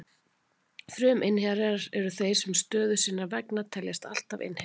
Fruminnherjar eru þeir sem stöðu sinnar vegna teljast alltaf innherjar.